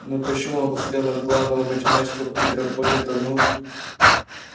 но почему он посмотрел на главного математика питера богерта ну